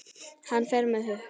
Hann fer með flugi.